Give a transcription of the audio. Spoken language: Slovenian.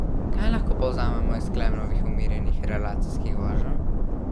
Kaj lahko povzamemo iz Klemnovih umirjenih relacijskih voženj?